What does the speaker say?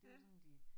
Ja